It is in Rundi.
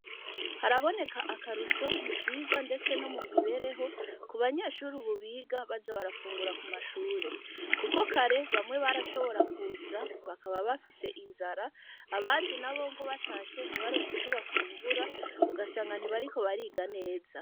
Haraboneka akarusho, mu vyigwa, ndetse no mu mibereho, ku banyeshure, ubu, biga baza barafungura ku mashure; kuko kare, bamwe barashobora kuza, bakaba bafise inzara, abandi nabo ngo, batashe, ntibaronke ico bafungura, ugasanga ntibariko bariga neza.